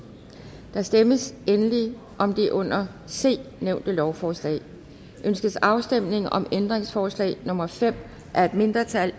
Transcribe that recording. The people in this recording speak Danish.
der stemmes endelig om det under c nævnte lovforslag ønskes afstemning om ændringsforslag nummer fem af et mindretal